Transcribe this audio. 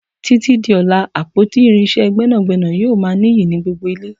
Títí di ọlá, àpótí irinsé gbẹ́nàgbẹ́nà yóò ma niyi ni gbogbo ile.